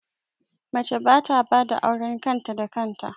Mace ba ta bada auren kan ta da kan ta